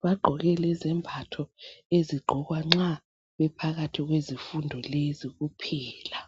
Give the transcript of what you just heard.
Bagqoke lezembatho ezigqokwa nxa bephakathi kwezifundo lezi kuphela.